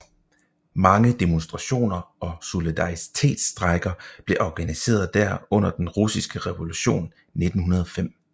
Mange demonstrationer og solidaritetsstrejker blev organiseret der under Den Russiske Revolution 1905